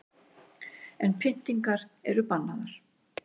En pyntingar eru bannaðar